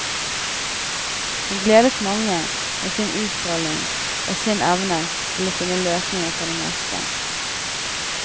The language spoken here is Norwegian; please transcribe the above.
Hun gledet mange med sin utstråling og sin evne til å finne løsning på det meste.